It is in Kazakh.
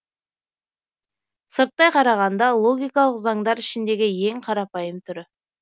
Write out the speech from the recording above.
сырттай қарағанда логикалық заңдар ішіндегі ең қарапайым түрі